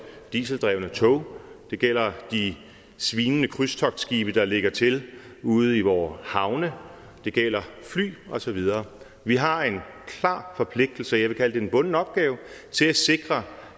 dieseldrevne tog det gælder de svinende krydstogtskibe der lægger til ude i vore havne det gælder fly og så videre vi har en klar forpligtelse jeg vil kalde det en bunden opgave til at sikre